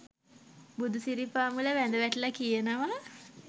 බුදුසිරිපාමුල වැඳ වැටිල කියනව.